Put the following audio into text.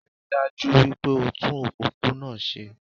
Ríi dájú wípé o tún òpópónà se